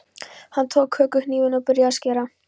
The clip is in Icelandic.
Hann tók kökuhnífinn og byrjaði að skera.